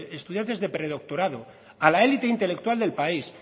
estudiantes de predoctorado a la élite intelectual del país